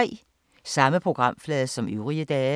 Samme programflade som øvrige dage